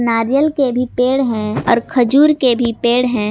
नारियल के भी पेड़ है और खजूर के भी पेड़ है।